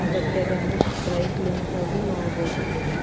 ಬಟ್ಟೆಗಳನ್ನ dry cleans ಆಗಿ ಮಾಡಬಹುದು ಇಲ್ಲೆಲ್ಲಾ.